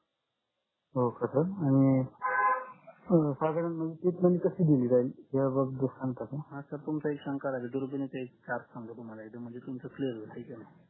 हो का पण साधारण म्हणजे treatment कशी दिली जाईल